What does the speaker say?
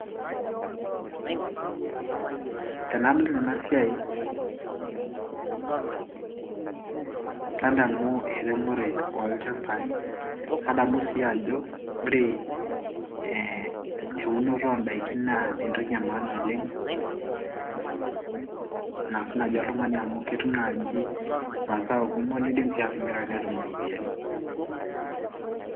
tenadol enasiai nadamu eremore olchambai nadamu sii ajo ore eunoto oondaiki naa entoki e maana oleng naas naaji oltung'ani au ketum naaji masao kumok nidim sii atimira netum iropiyiani.